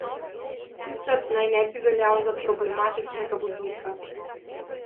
Sicer naj ne bi veljal za problematičnega voznika.